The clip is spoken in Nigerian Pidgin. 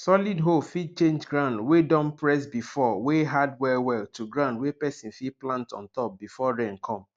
solid hoe fit change ground wey don press before wey hard well well to ground wey person fit plant on top before rain come